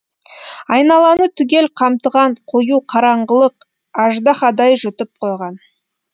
айналаны түгел қымтаған қою қараңғылық аждаһадай жұтып қойған